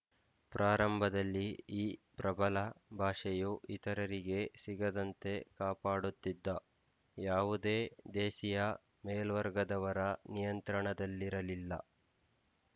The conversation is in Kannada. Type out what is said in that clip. ಪ್ರಾರಂಭದಲ್ಲಿ ಈ ಪ್ರಬಲ ಭಾಷೆಯು ಇತರರಿಗೆ ಸಿಗದಂತೆ ಕಾಪಾಡುತ್ತಿದ್ದ ಯಾವುದೇ ದೇಸಿಯ ಮೇಲ್ವರ್ಗದವರ ನಿಯಂತ್ರಣದಲ್ಲಿರಲಿಲ್ಲ